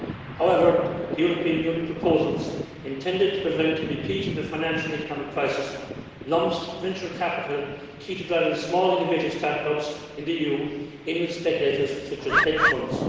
However, the European Union proposals, intended to prevent a repeat of the financial economic crisis, lump venture capital key to driving small innovative start ups in the EU together with speculators such as hedge funds.